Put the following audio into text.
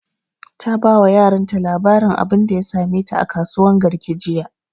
Ta ba wa yaran ta labarin abunda ya same ta a kasuwan garki jiya